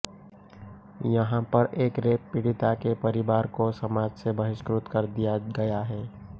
यहाँ पर एक रेप पीड़िता के परिवार को समाज से बहिष्कृत कर दिया गया है